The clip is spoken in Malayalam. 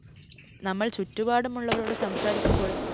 നമ്മള്‍ ചുറ്റുപാടുമുള്ളവരോട് സംസാരിക്കുമ്പോള്‍